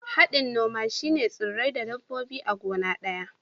Hadin noma shine tsurrai da dabbobi a gona daya.